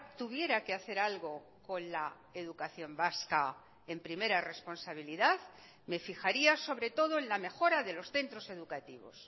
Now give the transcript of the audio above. tuviera que hacer algo con la educación vasca en primera responsabilidad me fijaría sobre todo en la mejora de los centros educativos